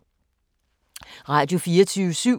Radio24syv